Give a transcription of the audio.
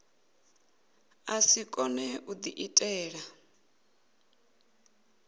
a si kone u diitela